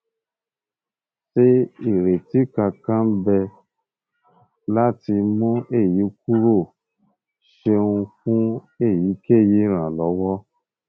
se ireti kankan n be lati mu eyi kuro o ṣeun fun eyikeyi iranlọwọ